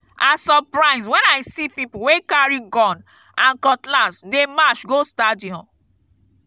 i surprise wen i see people wey carry gun and cutlass dey march go stadium.